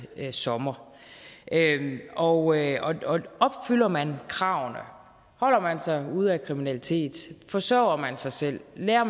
sommer og opfylder man kravene altså holder ude af kriminalitet forsørger sig selv lærer